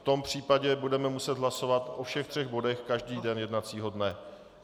V tom případě budeme muset hlasovat o všech třech bodech každý den jednacího dne.